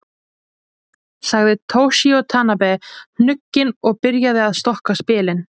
Sagði Toshizo Tanabe hnugginn og byrjaði að stokka spilin.